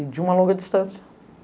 E de uma longa distância.